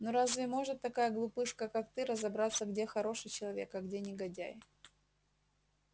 ну разве может такая глупышка как ты разобраться где хороший человек а где негодяй